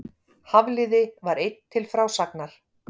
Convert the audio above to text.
Hafliði var einn til frásagnar.